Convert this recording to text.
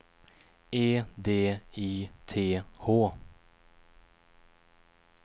E D I T H